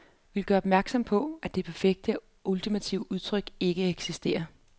Vi vil gøre opmærksom på, at det perfekte og ultimative udtryk ikke eksisterer.